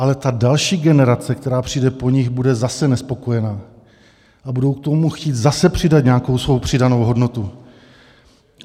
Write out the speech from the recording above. Ale ta další generace, která přijde po nich, bude zase nespokojena a budou k tomu chtít zase přidat nějakou svou přidanou hodnotu.